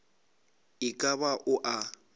e ka ba o a